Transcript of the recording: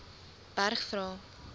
berg vra